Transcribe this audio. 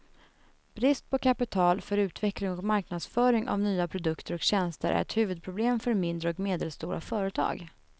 Brist på kapital för utveckling och marknadsföring av nya produkter och tjänster är ett huvudproblem för mindre och medelstora företag.